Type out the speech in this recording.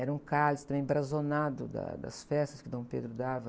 Era um cálice embrazonado da, das festas que Dom Pedro dava.